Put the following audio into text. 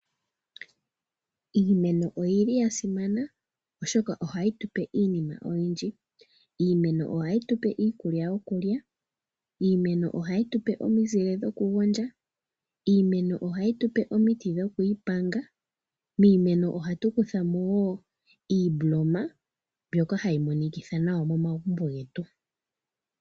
Iimeno oya simana, oshoka ohayi tu pe iinima oyindji. Iimeno ohayi tu pe iikulya yokulya, iimeno ohayi tu pe omizile dhokugondja, iimeno ohayi tu pe omiti dhokuipanga, miimeno ohatu kutha mo wo iimboloma mbyoka hayi monikitha nawa momagumbo getu.